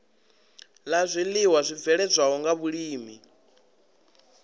la zwiiwa zwibveledzwaho nga vhulimi